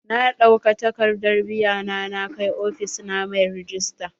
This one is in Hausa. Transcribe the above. Na ɗauka takadar biya na na kai ofis na mai rejista.